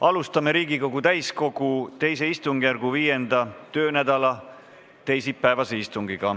Alustame Riigikogu täiskogu II istungjärgu 5. töönädala teisipäevast istungit.